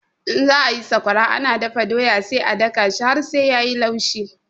In za ayi sakwara ana dafa doya sai a daka shi har sai yayi laushi